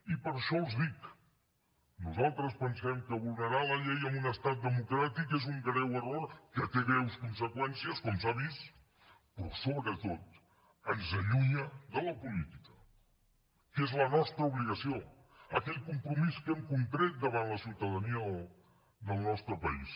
i per això els dic nosaltres pensem que vulnerar la llei en un estat democràtic és un greu error que té greus conseqüències com s’ha vist però sobretot ens allunya de la política que és la nostra obligació aquell compromís que hem contret davant la ciutadania del nostre país